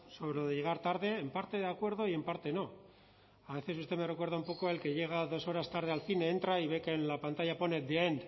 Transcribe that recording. sobre lo de llegar tarde en parte de acuerdo y en parte no a veces usted me recuerda un poco al que llega dos horas tarde al cine entra y ve que en la pantalla pone the end